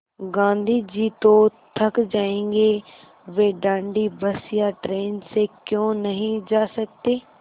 गाँधी जी तो थक जायेंगे वे दाँडी बस या ट्रेन से क्यों नहीं जा सकते